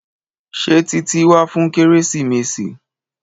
Ṣé Títí wá fún kérésìmesì?